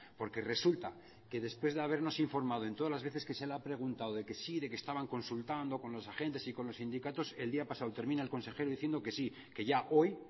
porque resulta que después de habernos informado en todas las veces que se le ha preguntado de que sí de que estaban consultando con los agentes y con los sindicatos el día pasado termina el consejero diciendo que sí que ya hoy